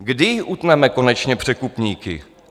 Kdy utneme konečně překupníky?